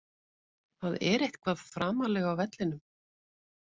Það er eitthvað framarlega á vellinum.